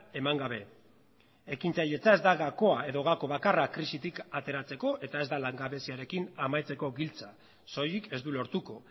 eman gabe ekintzailetza ez da gakoa edo gako bakarra krisitik ateratzeko eta ez da langabeziarekin amaitzeko giltza soilik ez du lortuko